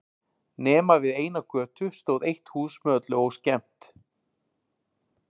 Nema við eina götu stóð eitt hús með öllu óskemmt.